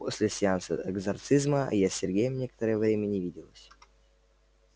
после сеанса экзорсизма я с сергеем некоторое время не виделась